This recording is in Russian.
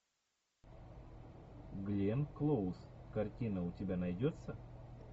гленн клоуз картина у тебя найдется